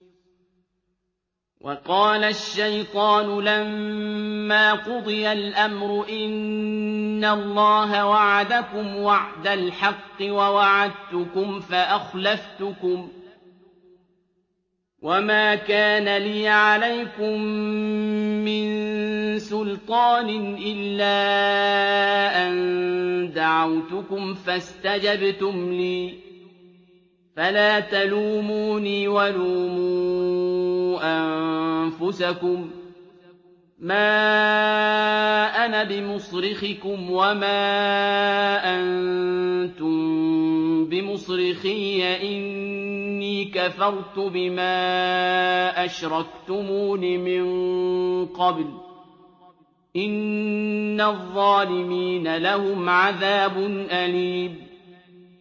وَقَالَ الشَّيْطَانُ لَمَّا قُضِيَ الْأَمْرُ إِنَّ اللَّهَ وَعَدَكُمْ وَعْدَ الْحَقِّ وَوَعَدتُّكُمْ فَأَخْلَفْتُكُمْ ۖ وَمَا كَانَ لِيَ عَلَيْكُم مِّن سُلْطَانٍ إِلَّا أَن دَعَوْتُكُمْ فَاسْتَجَبْتُمْ لِي ۖ فَلَا تَلُومُونِي وَلُومُوا أَنفُسَكُم ۖ مَّا أَنَا بِمُصْرِخِكُمْ وَمَا أَنتُم بِمُصْرِخِيَّ ۖ إِنِّي كَفَرْتُ بِمَا أَشْرَكْتُمُونِ مِن قَبْلُ ۗ إِنَّ الظَّالِمِينَ لَهُمْ عَذَابٌ أَلِيمٌ